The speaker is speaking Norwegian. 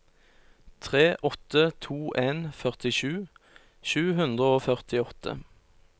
tre åtte to en førtisju sju hundre og førtiåtte